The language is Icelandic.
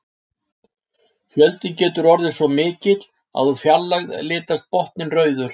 Fjöldinn getur orðið svo mikill að úr fjarlægð litast botninn rauður.